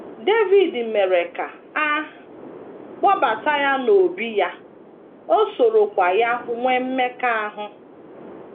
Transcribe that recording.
Devid mere ka a kpọbata ya n’obí ya, o sorokwa ya nwee mmekọahụ.